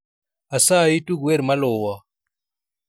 Asayi tug wer maluwo